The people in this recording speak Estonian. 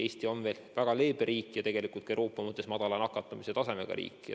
Eesti on veel väga leebe riik ja tegelikult Euroopa mõttes madala nakatumistasemega riik.